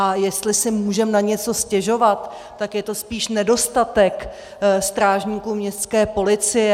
A jestli si můžeme na něco stěžovat, tak je to spíš nedostatek strážníků městské policie.